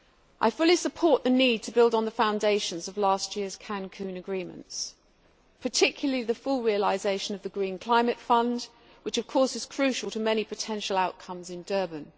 I fully support the need to build on the foundations of last year's Cancun agreements, particularly the full realisation of the Green Climate Fund which, of course, is crucial to many potential outcomes in Durban.